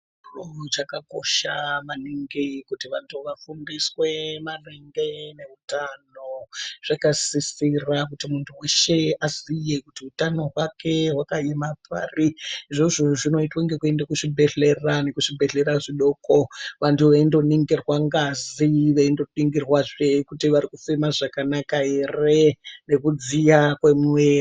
Chiro chaka kosha maningi kuti vantu vafundiswe maringe ne utano zvaka sisira kuti muntu weshe aziye kuti utano hwake hwaka ema pari izvozvo zvinoitwa ngekuenda ku zvibhedhlera nekuzvi bhedhleya zvidoko vantu veindo ningirwa ngazi veingo nirwa zvee kuti vari kufema zvakanaka ere nekudziya kwe muviri.